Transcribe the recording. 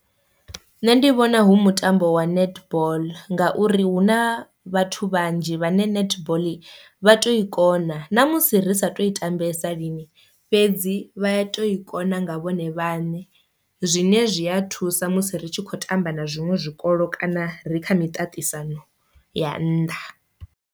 Nṋe ndi vhona hu mutambo wa netball ngauri hu na vhathu vhanzhi vhane netball vha to i kona, ṋamusi risa to i tambese lini fhedzi vha ya to i kona nga vhone vhaṋe zwine zwi a thusa musi ri tshi khou tamba na zwiṅwe zwikolo kana ri kha miṱaṱisano ya nnḓa.